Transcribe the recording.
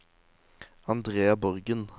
Andrea Borgen